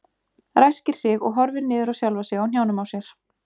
Ræskir sig og horfir niður á sjálfa sig á hnjánum á sér.